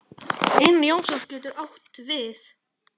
Einar Jónsson getur átt við